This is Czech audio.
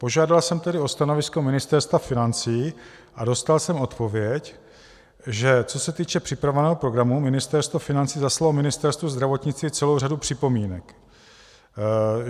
Požádal jsem tedy o stanovisko Ministerstvo financí a dostal jsem odpověď, že co se týče připravovaného programu, Ministerstvo financí zaslalo Ministerstvu zdravotnictví celou řadu připomínek.